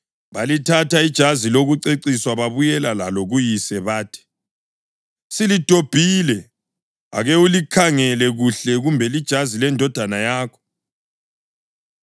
Balithatha ijazi lokuceciswa babuyela lalo kuyise bathi, “Silidobhile. Ake ulikhangele kuhle kumbe lijazi lendodana yakho.”